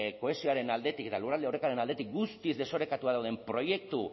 kohesioaren aldetik eta lurralde orekaren aldetik guztiz desorekatua dauden proiektu